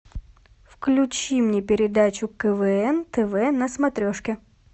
включи мне передачу квн тв на смотрешке